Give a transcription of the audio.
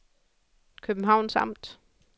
Københavns Amt